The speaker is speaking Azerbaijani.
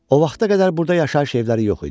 O vaxta qədər burda yaşayış evləri yox idi.